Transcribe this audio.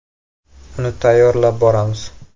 Uni tayyorlab boramiz.